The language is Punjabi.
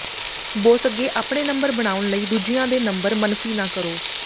ਬੋਸ ਅੱਗੇ ਆਪਣੇ ਨੰਬਰ ਬਣਾਉਣ ਲਈ ਦੂਜਿਆਂ ਦੇ ਨੰਬਰ ਮਨਫ਼ੀ ਨਾ ਕਰੋ